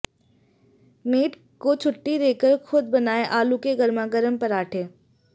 made को छुट्टी देकर खुद बनाए आलू के गर्मागर्म परांठे